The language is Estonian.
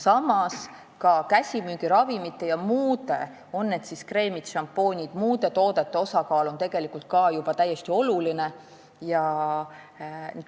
Samas on käsimüügiravimite ja muude toodete, näiteks kreemid-šampoonid, osakaal ka juba täiesti oluline.